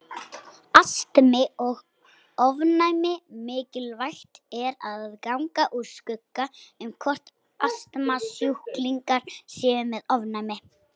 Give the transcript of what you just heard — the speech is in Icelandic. Astmi og ofnæmi Mikilvægt er að ganga úr skugga um hvort astmasjúklingar séu með ofnæmi.